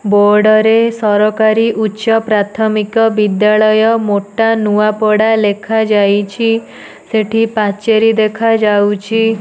Board ରେ ସରକାରୀ ଉଚ୍ଚ ପ୍ରାଥମିକ ବିଦ୍ୟାଳୟ ମୋଟା ନୁଆପଡା ଲେଖାଯାଇଛି ସେଠି ପାଚେରୀ ଦେଖାଯାଉଛି।